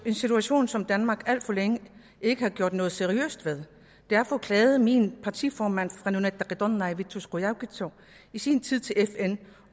en situation som danmark alt for længe ikke har gjort noget seriøst ved derfor klagede min partiformand fra nunatta qitornai vittus qujaukitsoq i sin tid til fn